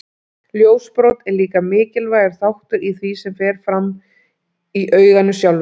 Ljósbrot er líka mikilvægur þáttur í því sem fram fer í auganu sjálfu.